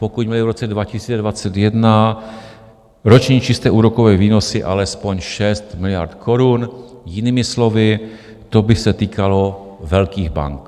Pokud byly v roce 2021 roční čisté úrokové výnosy alespoň 6 miliard korun, jinými slovy, to by se týkalo velkých bank.